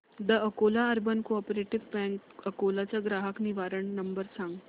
the Akola urban cooperative bank Akola चा ग्राहक निवारण नंबर सांग